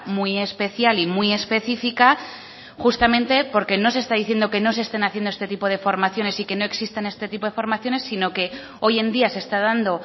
muy especial y muy específica justamente porque no se está diciendo que no se estén haciendo este tipo de formaciones y que no existen este tipo de formaciones sino que hoy en día se está dando